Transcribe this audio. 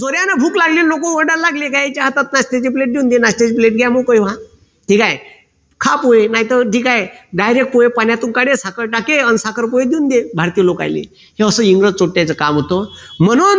त्यांना भूक लागली लोक ओरडायला लागले की यांचा हातात नाश्त्याची प्लेट देऊन द्यायचे नाश्त्याची प्लेट घ्या न मोकळे व्हा. ठीक आहे. खा पोहे नाही तर ठीक आहे direct पोहे पाण्यातून काढे साखर टाके अन साखर पोहे देऊन दे भारतीय लोकायले हे असं इंग्रज काम होत म्हणून